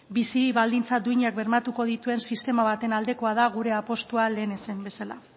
bizi baldintza duinak bermatuko dituen sistema baten aldekoa da gure apustua lehen esan bezala